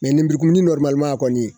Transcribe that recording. lenburukumuni kɔni